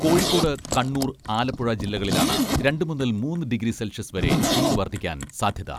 കോഴിക്കോട്, കണ്ണൂർ, ആലപ്പുഴ ജില്ലകളിലാണ് രണ്ട് മുതൽ മൂന്ന് ഡിഗ്രി സെൽഷ്യസ് വരെ ചൂട് വർധിക്കാൻ സാധ്യത.